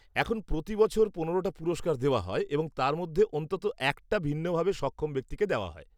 এখন প্রতি বছর পনেরোটা পুরস্কার দেওয়া হয় এবং তার মধ্যে অন্তত একটা ভিন্নভাবে সক্ষম ব্যক্তিকে দেওয়া হয়।